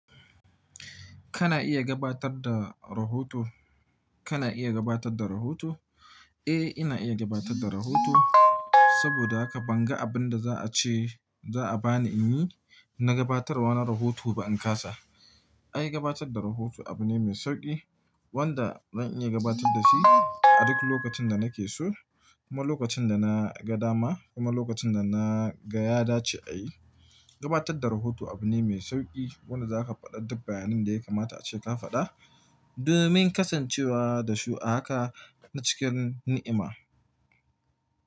Kana iya gabatar da rahoto? Kana iya gabatar da rahoto? Eh, ina iya gabatar da rahoto saboda haka ban ga abun da za'a ce za'a ba ni in yi na gabatarwa na rahoto ba in kasa. Ai gabatar da rahoto abu ne mai sauƙi wanda zan iya gabatar da shi a duk lokacin da nake so, kuma lokacin da na ga dama, kuma lokacin da na ga ya dace ayi. Gabatar da rahoto abu ne mai sauƙi wanda za ka faɗa duk bayanin da ya kamata a ce ka faɗa domin kasancewa da su a haka na cikin ni'ima.